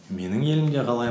менің елімде қалай